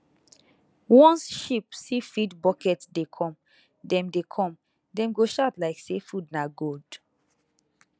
once sheep see feed bucket dey come dem dey come dem go shout like say food na gold